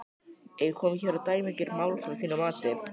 Er komið hér á dæmigert málþóf að þínu mati?